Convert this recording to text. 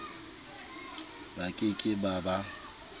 ba ke ke ba ba